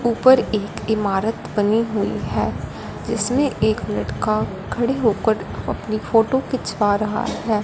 ऊपर एक इमारत बनी हुई है जिसमें एक लड़का खड़े होकर अपनी फोटो खिंचवा रहा है।